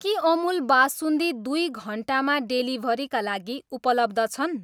के अमुल बासुन्दी दुई घन्टामा डेलिभरीका लागि उपलब्ध छन्?